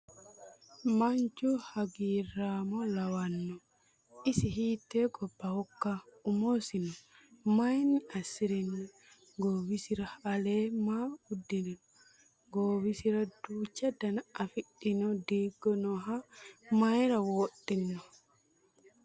Manchu hagiirramo lawanno? Isi hiitte gobbahokka? Umosino mayiinni assirino? Goowisira alee maa usudhino? Goowisira duucha dana afidhino diigo nooha mayiira wodhino,?